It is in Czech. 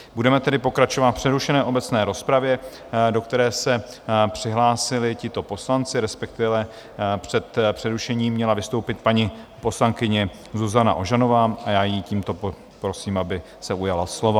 Budeme tedy pokračovat v přerušené obecné rozpravě, do které se přihlásili tito poslanci, respektive před přerušením měla vystoupit paní poslankyně Zuzana Ožanová a já jí tímto prosím, aby se ujala slova.